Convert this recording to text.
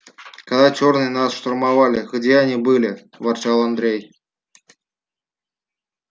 когда чёрные нас штурмовали где они были ворчал андрей